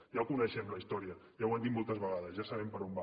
ja la coneixem la història ja ho han dit moltes vegades ja sabem per on va